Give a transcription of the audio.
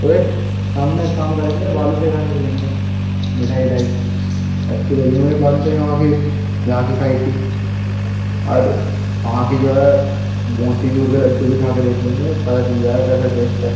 ओए शाम में एक काम करेंगे बालूशाही खाने चलेंगे मिठाई विठाई अच्छी लगी थी मुझे बालूशाही वहाँ की जहां की खायी थी और वहाँ की जो है मोतीचूर के लड्डू भी खा कर देख लेंगे। पता चल जाएगा कैसा टेस्ट है।